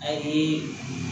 A ye